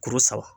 Kuru saba